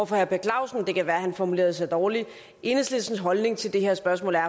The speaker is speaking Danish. for herre per clausen det kan være at han formulerede sig dårligt enhedslistens holdning til det her spørgsmål er